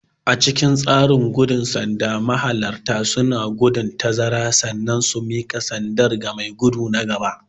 A cikin tseren gudun sanda mahalarta suna gudun tazara sannan su mika sanda ga mai gudu na gaba.